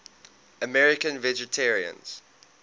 american vegetarians